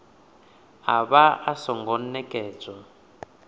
a vha a songo nekedzwa